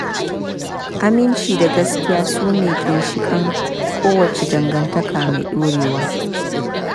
Aminci da gaskiya su ne ginshiƙan kowace dangantaka mai ɗorewa.